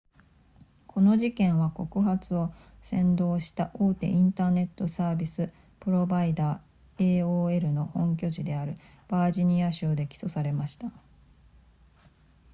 この事件は告発を扇動した大手インターネットサービスプロバイダー aol の本拠地であるバージニア州で起訴されました